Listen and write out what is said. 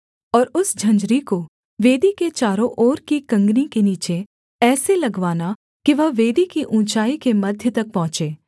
और उस झंझरी को वेदी के चारों ओर की कँगनी के नीचे ऐसे लगवाना कि वह वेदी की ऊँचाई के मध्य तक पहुँचे